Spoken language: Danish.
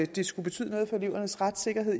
det skulle betyde noget for elevernes retssikkerhed